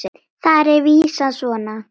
Þar er vísan svona